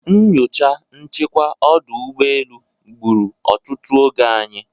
Nyocha nchekwa ọdụ ụgbọelu gburu otutu oge anyị.